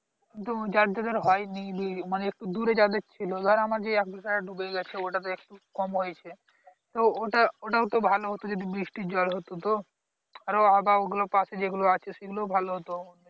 কিন্তু যাদের যাদের হয় নি . মনে একটু দূরে যাদের ছিল ধর আমার যে এক বিঘা যেটা ডুবে গেছে ওটাতে একটু কম হয়েছে তো ওটাও ওটাও তো ভালো হতো যদি বৃষ্টির জল হতো তো আরো আবার ওগুলোর পশে যেগুলো আছে সেগুলোও ভালো হতো